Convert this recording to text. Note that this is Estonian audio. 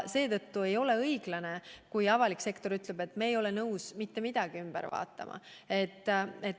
Seetõttu ei ole õiglane, kui avalik sektor ütleb, et meie ei ole nõus mitte midagi üle vaatama.